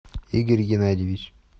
игорь геннадьевич